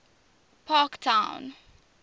parktown